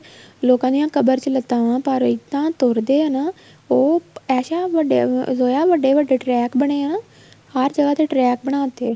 ਲੋਕਾਂ ਦੀਆ ਕਬਰ ਚ ਲੱਤਾਂ ਆ ਪਰ ਇਹਦਾ ਤੁਰਦਿਆਂ ਨਾ ਉਹ ਐਸਾ ਜੋਇਆ ਵੱਡੇ ਵੱਡੇ ਬਣੇ ਆ ਨਾ ਹਰ ਜਗ੍ਹਾ ਤੇ track ਬਣਾ ਤੇ